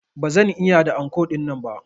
Ba zan iya da anko dinnan ba.